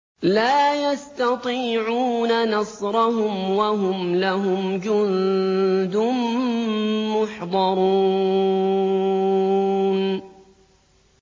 لَا يَسْتَطِيعُونَ نَصْرَهُمْ وَهُمْ لَهُمْ جُندٌ مُّحْضَرُونَ